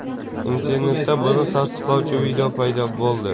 Internetda buni tasdiqlovchi video paydo bo‘ldi.